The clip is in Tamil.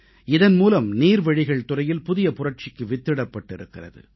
இதன் மூலம் நீர்வழிகள் துறையில் புதிய புரட்சிக்கு வித்திடப்பட்டிருக்கிறது